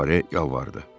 Fuare yalvardı: